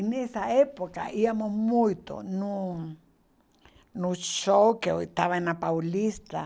E nessa época íamos muito no no show que estava na Paulista.